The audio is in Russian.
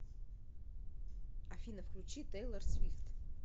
афина включи тейлор свифт